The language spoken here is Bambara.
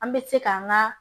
An bɛ se k'an ka